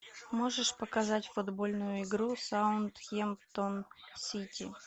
можешь показать футбольную игру саутгемптон сити